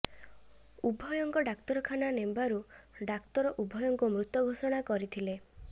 ଉଭୟଙ୍କ ଡାକ୍ତରଖାନା ନେବାରୁ ଡାକ୍ତର ଉଭୟଙ୍କୁ ମୃତ ଘୋଷଣା କରିଥିଲେ